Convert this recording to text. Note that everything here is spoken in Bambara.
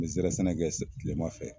N mi zɛrɛ sɛnɛ kɛ kilema fɛ